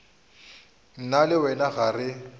nna le wena ga re